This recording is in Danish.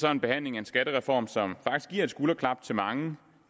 er en behandling af en skattereform som giver et skulderklap til mange